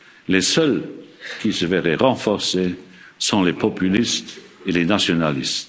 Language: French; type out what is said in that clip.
règles. Les seuls qui se verraient renforcés sont les populistes et les nationalistes.